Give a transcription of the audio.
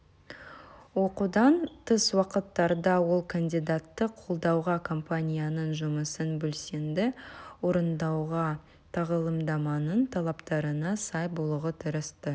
оқудан тыс уақыттарда ол кандидатты қолдауға компанияның жұмысын белсенді орындауға тағылымдаманың талаптарына сай болуға тырысты